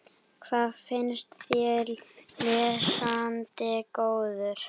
Hvað finnst þér, lesandi góður?